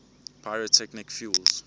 pyrotechnic fuels